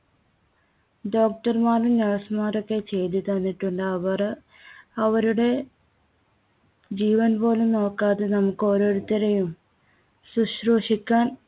Doctor മാരും nurse മാരും ഒക്കെ ചെയ്തുതന്നിട്ടുണ്ട്. അവര് അവരുടെ ജീവൻപോലും നോക്കാതെ നമുക്ക് ഓരോരുത്തരെയും ശുശ്രൂഷിക്കാൻ